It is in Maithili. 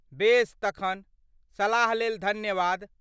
बेस तखन, सलाह लेल धन्यवाद!